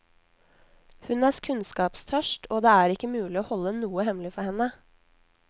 Hun er kunnskapstørst, og det er ikke mulig å holde noe hemmelig for henne.